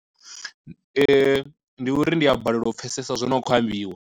Ndi uri ndi a balelwa u pfesesa zwono khou ambiwa.